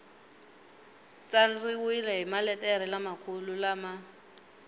tsariwile hi maletere lamakulu lama